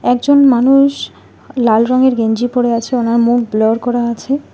একজন মানুষ লাল রঙের গেঞ্জি পরে আছে ওনার মুখ ব্লার করা আছে।